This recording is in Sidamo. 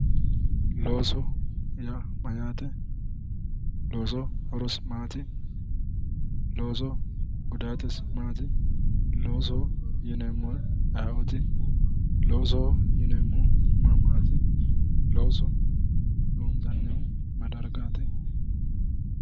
Loosoho yaa mayate, loosoho horosi maati, loosoho gudatisi maati, loosoho yinneemmori ayeeoti, loosoho yinneemmohu ma mati, looso loonisannihu mayi mayi dargati.